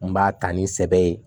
N b'a ta ni sɛbɛ ye